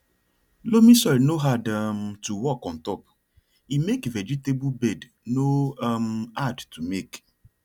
loamy soil no hard um to work ontop e make vegetable bed no um hard to make